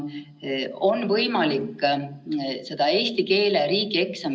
Tol hetkel parlament talle sellist kaheaastast mandaati ei andnud, valitsus sai kehtestada need muudatused üheks aastaks.